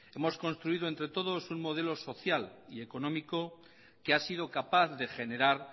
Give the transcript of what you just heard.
hemos construido entre todos un modelo social y económico que ha sido capaz de generar